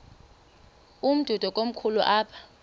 umdudo komkhulu apha